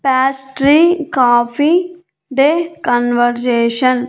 pastry coffee day conversation --